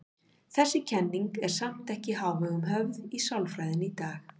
Þessi kenning er samt ekki í hávegum höfð í sálfræðinni í dag.